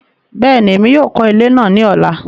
Bẹẹni, Èmí yóò kọ ilé náà ní ọla